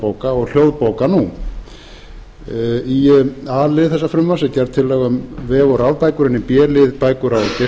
bóka og hljóðbóka nú í a lið þessa frumvarps er gerð tillaga um vef og rafbækur en í b lið bækur